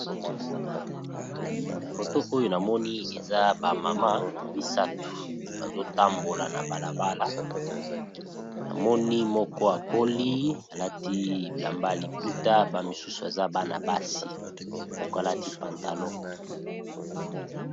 Foto oyo na moni eza ba mama misatu, bazo tambola na bala bala na moni moko akoli alati bilamba liputa ba misusu baza bana basi moko alati pantalon.